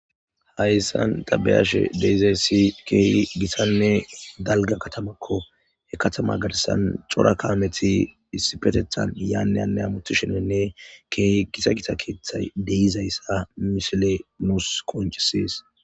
hayssan dabeyashe deizayssi keehi gisanne dalga katamakko he katama garisan cora kaameti isipetethan yaanneyane amuthi shenenne keehi gisa gita keeththay deizayssa mishile nuus koncisies